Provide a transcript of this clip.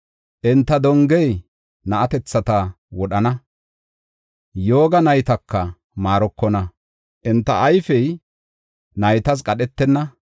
Enta dongey na7atethata wodhana; yooga naytaka maarokona; enta ayfey naytas qadhetenna.